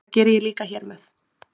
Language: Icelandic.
Það geri ég líka hér með.